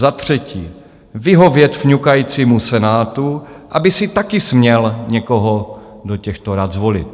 Za třetí, vyhovět fňukajícímu Senátu, aby si také směl někoho do těchto rad zvolit.